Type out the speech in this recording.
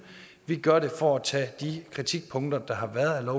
vi gør det for at tage de kritikpunkter der har været af